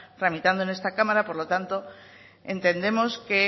tramitando en esta cámara por lo tanto entendemos que